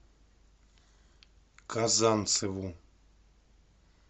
казанцеву